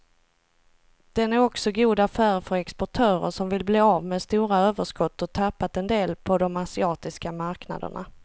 Den är också god affär för exportörer som vill bli av med stora överskott och tappat en del på de asiatiska marknaderna.